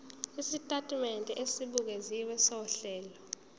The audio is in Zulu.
isitatimende esibukeziwe sohlelo